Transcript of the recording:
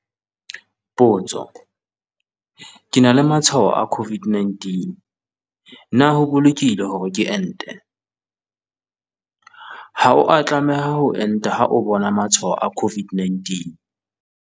Potso- Ke na le matshwao a COVID-19 na ho bolokehile hore ke ente? Ha o a tlameha ho enta ha o bona matshwao a COVID-19.